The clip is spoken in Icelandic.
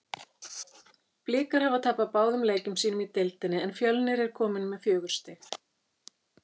Blikar hafa tapað báðum leikjum sínum í deildinni en Fjölnir er komið með fjögur stig.